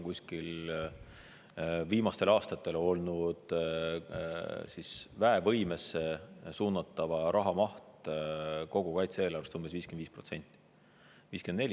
Aga viimastel aastatel on olnud väevõimesse suunatava raha maht kogu kaitse-eelarvest umbes 55%.